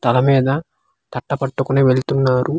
తల మీద తట్ట పట్టుకొని వెళ్తున్నారు.